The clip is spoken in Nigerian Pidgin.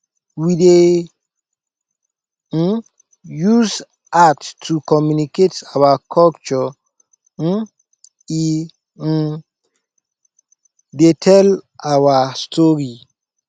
we dey um use art to communicate our culture um e um dey tell our story